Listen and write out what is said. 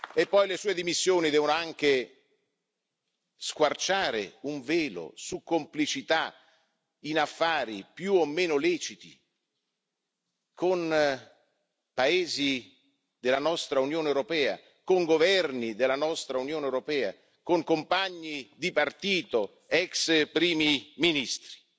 E poi le sue dimissioni devono anche squarciare un velo su complicità in affari più o meno leciti con paesi della nostra Unione europea, con governi della nostra Unione europea, con compagni di partito, ex primi ministri.